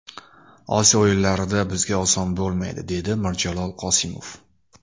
Osiyo o‘yinlarida bizga oson bo‘lmaydi”, dedi Mirjalol Qosimov.